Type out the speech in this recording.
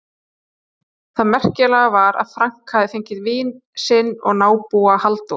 Það merkilega var að Frank hafði fengið vin sinn og nábúa, Halldór